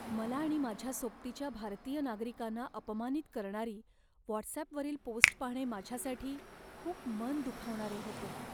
मला आणि माझ्या सोबतीच्या भारतीय नागरिकांना अपमानित करणारी व्हॉटसॲपवरील पोस्ट पाहणे माझ्यासाठी खूप मन दुखावणारे होते.